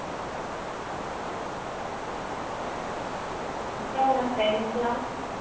அப்புறம் உங்க friends எல்லாம்